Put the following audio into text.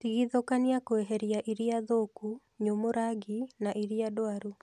Tigithũkania kweheria iria thũku, nyumu rangi na iria ndwaru